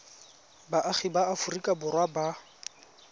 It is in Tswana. baagi ba aforika borwa ba